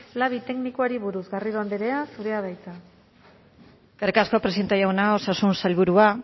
labi teknikoari buruz garrido andrea zurea da hitza eskerrik asko presidente jauna osasun sailburua